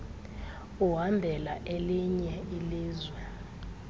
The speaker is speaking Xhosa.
uhambela elinye ilizwe